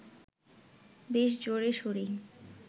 বেশ জোরে-শোরেই